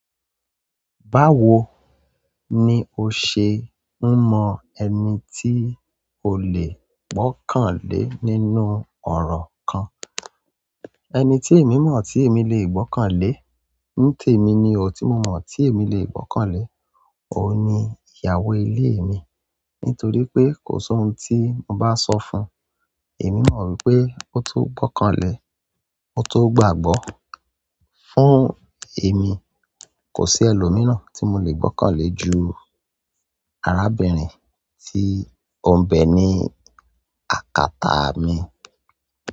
Báwo ni o ṣe ń mọ ẹni tí o lè gbọ́kànlé nínú ọ̀rọ̀ kan? Ẹni tí èmi mọ̀ tí èmi lè gbọ́kànlé. Ní tèmi ni o tí mo mọ̀ tí èmi lè gbọ́kànlé. Òun ni ìyàwó ilé mi. Nitoripe kosi òun ti mo ba so fún emi mo wípé koto gbokanle ko tó gbàgbọ́. Fún èmi, kò sí ẹlòmíràn tí mo le gbọ́kànlé ju arábìnrin tí ó ń bẹ ní àkátá mi.